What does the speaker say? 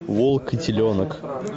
волк и теленок